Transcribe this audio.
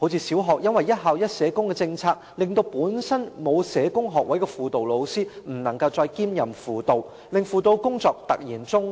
小學的"一校一社工"計劃令本身沒有社工學位的輔導老師不能夠再兼任輔導工作，輔導工作因而突然中斷。